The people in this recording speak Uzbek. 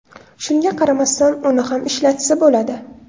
Shunga qaramasdan uni ham ishlatsa bo‘ladi.